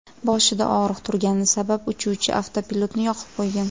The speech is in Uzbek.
Boshida og‘riq turgani sabab uchuvchi avtopilotni yoqib qo‘ygan.